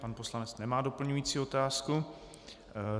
Pan poslanec nemá doplňující otázku.